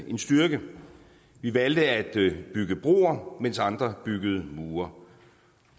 en styrke vi valgte at bygge broer mens andre byggede mure